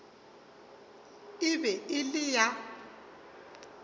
e be e le ya